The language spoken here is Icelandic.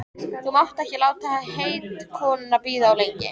Þú mátt ekki láta heitkonuna bíða of lengi.